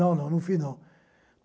Não, não, não fiz, não.